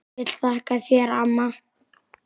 Ég vil þakka þér amma.